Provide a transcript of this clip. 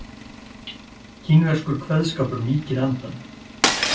Kínverskur kveðskapur mýkir andann